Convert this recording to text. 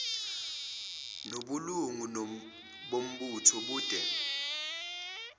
nobulungu bombutho bube